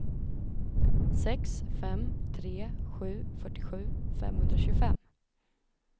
sex fem tre sju fyrtiosju femhundratjugofem